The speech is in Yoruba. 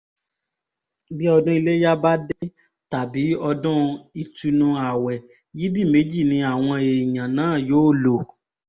bí ọdún iléyà bá dé tàbí ọdún ìtùnú-ààwẹ̀ yídì méjì ni àwọn èèyàn náà yóò lò